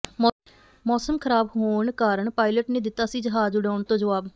ਮੌਸਮ ਖ਼ਰਾਬ ਹੋਣ ਕਾਰਨ ਪਾਇਲਟ ਨੇ ਦਿੱਤਾ ਸੀ ਜਹਾਜ਼ ਉਡਾਉਣ ਤੋਂ ਜਵਾਬ